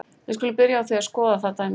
Við skulum byrja á því að skoða það dæmi.